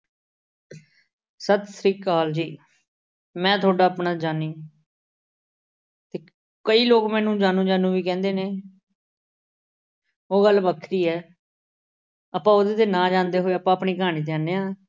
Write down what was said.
ਸਤਿ ਸ੍ਰੀ ਅਕਾਲ ਜੀ। ਮੈਂ ਤੁਹਾਡਾ ਆਪਣਾ ਜਾਨੀ। ਅਹ ਕਈ ਲੋਕ ਮੈਨੂੰ ਜਾਨੂ ਜਾਨੂ ਵੀ ਕਹਿੰਦੇ ਨੇ। ਉਹ ਗੱਲ ਵੱਖਰੀ ਐ। ਆਪਾ ਉਹਦੇ 'ਤੇ ਨਾ ਜਾਂਦੇ ਹੋਏ, ਆਪਾਂ ਆਪਣੀ ਕਹਾਣੀ ਤੇ ਆਉਣੇ ਆਂ।